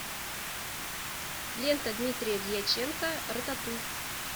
лента дмитрия дьяченко рататуй